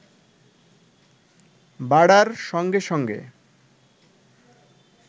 বাড়ার সঙ্গে সঙ্গে